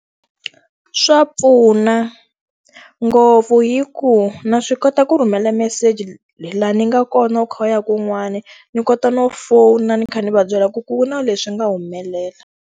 Swa pfuna ngopfu hikuva na swi kota ku rhumela meseji laha ni nga kona u kha u ya kun'wani, ndzi kota no fona ndzi kha ndzi va byela ku ku na leswi nga humelela.